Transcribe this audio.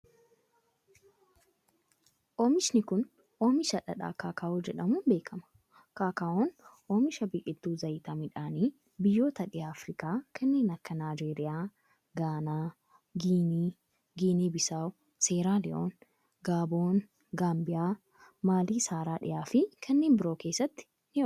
Oomishni kun, oomisha dhadhaa kaakaa'oo jedhamuun beekama. Kaakaa'oon oomisha biqiltuu zayita midhaanii ,biyyoota dhiha Afriikaa kanneen akka: Naayijeeriyaa, Gaanaa, Giinii, Giinii Bisaawoo, Seeraaliyoon, Gaaboon, Gaambiyaa, Maalii Saharaa dhihaa fi kanneen biroo keessattis ni oomishama.